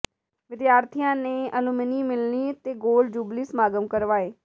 ਵਿਦਿਆਰਥੀਆਂ ਨੇ ਅਲੂਮਨੀ ਮਿਲਣੀ ਤੇ ਗੋਲਡਨ ਜੁਬਲੀ ਸਮਾਗਮ ਕਰਵਾਏ